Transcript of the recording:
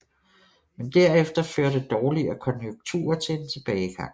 Men derefter førte dårligere konjunkturer til en tilbagegang